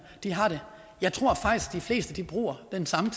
har det jeg tror faktisk de fleste bruger den samme